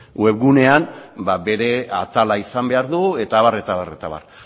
webgunean bere atala izan behar du eta abar eta abar eta abar